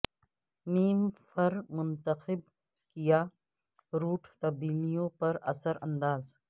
م فر منتخب کیا روٹ تبدیلیوں پر اثر انداز